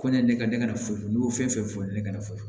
Ko ne ka ne ka na fo n ye fɛn fɛn fɔ ne ɲɛna fɔlɔ